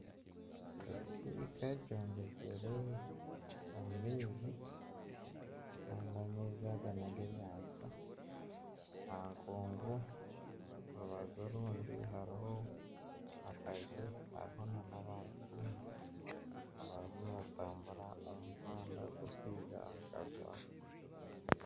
Ekisiika kyombekire omu maizi kandi amaizi aga nag'enyanja aha nkuugu orubaju orundi hariho akaju hariho n'abantu baingi abarimu nibatambura omu muhanda ogurikwija aha kaju aka.